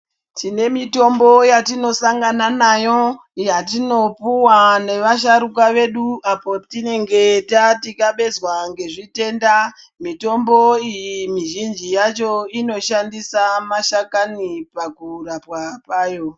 Tine mitombo yatinosangana nayo, yatinopuwa nevasharuka vedu ,apo tinenge tathikabezwa ngezvitenda. Mitombo iyi mizhinji yacho , inoshandisa mashakani pakurapwa kwayo.